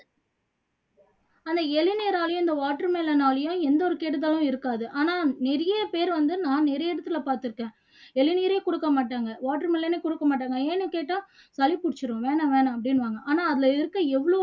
ஆனா இளநீராலயும் இந்த watermelon னாலயும் எந்த ஒரு கெடுதலும் இருக்காது ஆனா நிறைய பேரு வந்து நான் நிறைய இடத்துல பாத்துருக்கேன் இளநீரே கொடுக்க மாட்டாங்க watermelon ஏ கொடுக்க மாட்டாங்க ஏன்னு கேட்டா சளி புடிச்சுரும் வேணாம் வேணாம் அப்படின்னுவாங்க ஆனா அதுல இருக்க எவ்ளோ